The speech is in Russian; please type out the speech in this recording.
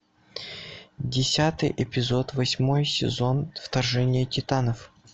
десятый эпизод восьмой сезон вторжение титанов